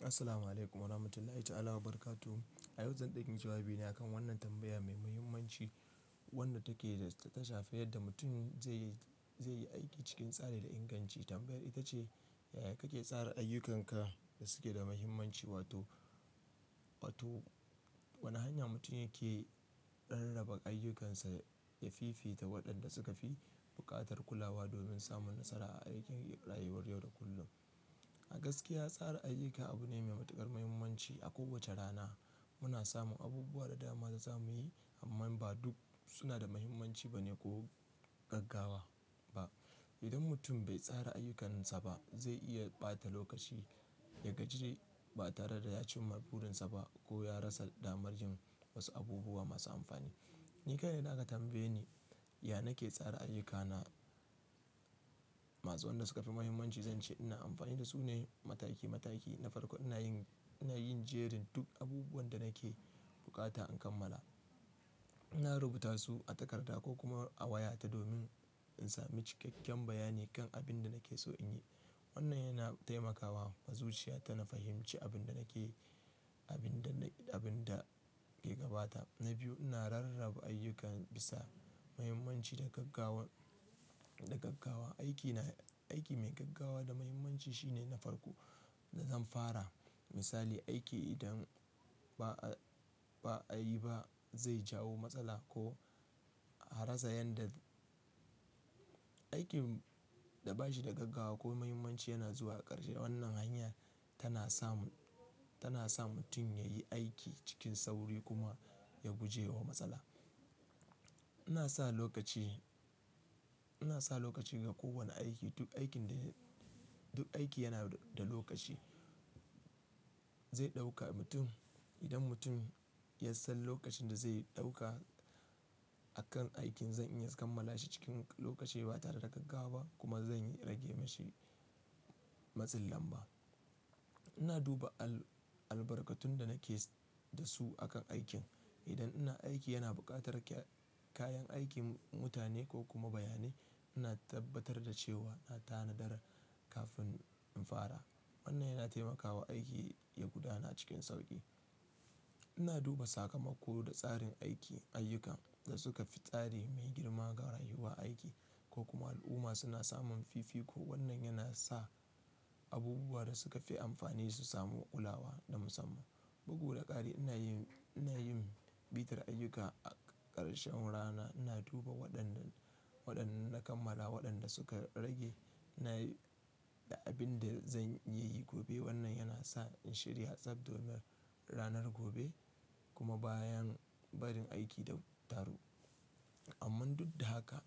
Assalamu'alaikum warahmatullahi ta'ala wabarakatu. A yau zan ɗayi jawabi ne akan wannan tambaya mai muhimmanci wadda take da ta shafi yadda mutum zai yi, zai yi aiki cikin tsari da inganci. Tambayar ita ce, yaya kake tsara ayyukanka da suke da muhimmanci wato, wato wane hanya mutum yake rarraba ayyukansa yafifita waɗanda suka fi buƙatar kulawa domin samun nasara a aikin rayuwar yau da kullum. A gaskiya tsara ayyuka abu ne mai matuƙar muhimmanci. A kowace rana muna samun abubuwa da dama za mu yi amma ba duk suna da muhimmanci ba ne ko gaggawa ba. Idan mutum bai tsara ayyukansa ba zai iya ɓata lokaci ya gaji ba tare da ya cimma burinsa ba ko ya rasa damar yin wasu abubuwa masu amfani. Ni kaɗai na ka tambaye ni, ya nake tsara ayyukana masu waɗanda suka fi muhimmanci? Zan ce ina amfani da su ne mataki mataki. Na farko ina yin, ina yin jerin duk abubuwan da nake bukata in kammala. Ina rubuta su a takarda ko kuma a wayata domin in sami cikakken bayani kan abin da nake so in yi. Wannan yana taimakawa ma zuciya ta na fahimce abin da nake yi, abin da, abin da ke gabata. Na biyu ina rarraba ayyukan bisa muhimmanci da gaggawar, da gaggawa. Aiki na, aiki mai gaggawa da muhimmanci shine na farko da zan fara. Misali aiki idan ba a, ba a yi ba zai jawo matsala ko a rasa yadda. Aikin da bashi da gaggawa ko muhimmanci yana zuwa a ƙarshe. Wannan hanya tana sa mu, tana sa mutum yayi aiki cikin sauri kuma ya guje wa matsala. Ina sa lokaci, ina sa lokaci ga kowane aiki. Duk aikin da, duk aiki yana da lokaci zai ɗauka mutum. Idan mutum ya san lokacin da zai ɗauka a kan aikin, zan iya kammala shi cikin lokaci ba tare da gaggawa ba kuma zan rage mashi matsin lamba. Ina duba al, albarkatun da nake da su a kan aikin. Idan ina aiki yana buƙatar kayan aikin, mutane ko kuma bayanai, ina tabbatar da cewa na tanadar kafin in fara. Wannan yana taimakawa aiki ya gudana cikin sauƙi. Ina duba sakamako da tsarin aiki, ayyukan da suka fi tsari mai girma ga rayuwa, aiki ko kuma al'umma suna samun fifiko. Wannan yana sa abubuwa da suka fi amfani su samu kulawa na musamman. Bugu da ƙari ina yin, ina yin bitar ayyuka a ƙarshen rana. Ina duba waɗanda, waɗanda na kammala, waɗanda suka rage. Na, da abin da zan iya yi gobe. Wannan yana sa in shirya tsab domin ranar gobe kuma bayan barin aiki da taru. Amman duk da haka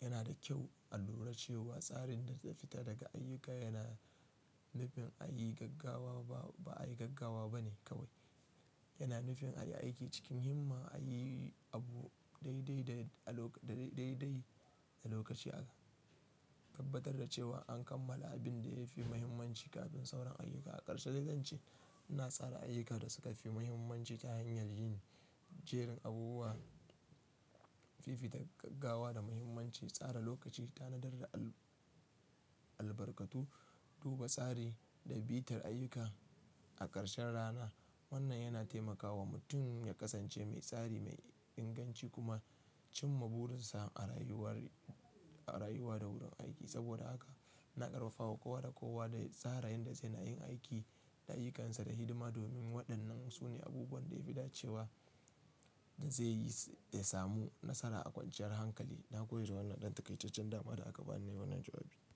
yana da kyau a lura cewa tsarin da ta fita daga ayyuka yana nufin a yi gaggawa ba, ba ayi gaggawa ba ne kawai. Yana nufin a yi aiki cikin himma, a yi abu dai dai da a lokaci dai dai da lokaci haka. Tabbatar da cewa an kammala abin da ya fi muhimmanci kafin sauran ayyuka a ƙarshe. Dai zance ina tsara ayyuka da suka fi muhimmanci ta hanyar yin jerin abubuwa fifita gaggawa da muhimmanci, tsara lokaci, tanadar da al, albarkatu, duba tsari da bitar ayyuka a ƙarshen rana. Wannan yana taimakawa mutum ya kasance mai tsari, mai inganci kuma cimma burinsa a rayuwar, a rayuwa da wurin aiki. Saboda haka na ƙarfafa kowa da kowa da tsara yanda zai na yin aiki da ayyukansa da hidima domin waɗannan su ne abubuwan da ya fi dace wa da zaiyi samu nasara a kwanciyar hankali. Na gode da wannan dan taƙaitecen dama da aka bani nayi wannan jawabi.